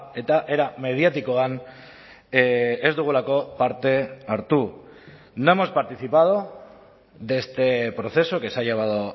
eta era mediatikoan ez dugulako parte hartu no hemos participado de este proceso que se ha llevado